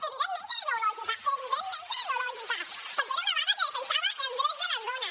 evidentment que era ideològica evidentment que era ideològica perquè era una vaga que defensava els drets de les dones